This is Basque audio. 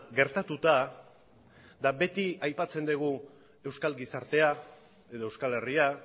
gertatuta eta beti aipatzen dugu euskal gizartea edo euskal herria